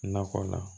Nakɔ la